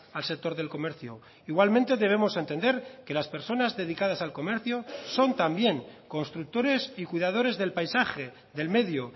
al sector del comercio igualmente debemos entender que las personas dedicadas al comercio son también constructores y cuidadores del paisaje del medio